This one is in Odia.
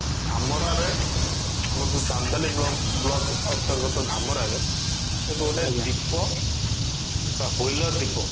ଧାମରା ରେ ଆମର ଯଉ ଚାନ୍ଦବାଲି ବ୍ଲ block ଅନ୍ତର୍ଗତ ଧାମରା ରେ ସେଇଠି ଗୋଟେ ଦ୍ଵିପ ବା wheeler ଦ୍ଵିପ